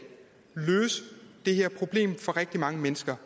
løse det her problem for rigtig mange mennesker